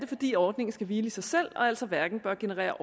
fordi ordningen skal hvile i sig selv og altså hverken bør generere